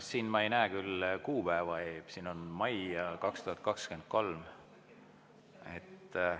Siin ma ei näe küll kuupäeva, siin on mai 2023.